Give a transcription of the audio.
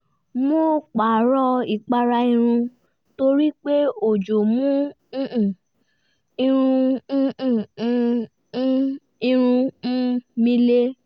mo pààrọ̀ ìpara irun torí pé ojò mú um irun um um irun um mi le